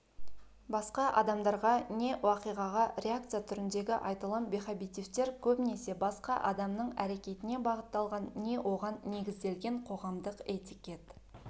басқа адамдарға не уақиғаға реакция түріндегі айтылым бехабитивтер көбінесе басқа адамның әрекетіне бағытталған не оған негізделген қоғамдық этикет